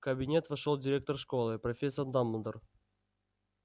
в кабинет вошёл директор школы профессор дамблдор